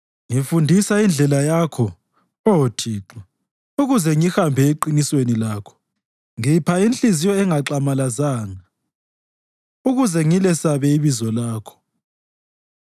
Ngifundisa indlela yakho, Oh Thixo, ukuze ngihambe eqinisweni lakho; ngipha inhliziyo engaxamalazanga, ukuze ngilesabe ibizo lakho.